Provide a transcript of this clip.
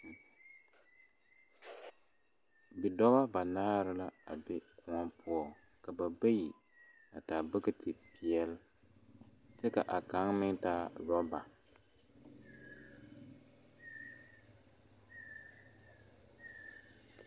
Bidɔbɔ banaare la a be kõɔ poɔŋ. Ka ba bayi a taa bogitipɛl, kyɛ kaa kaŋ meŋ taa oraba.